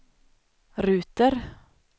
ruter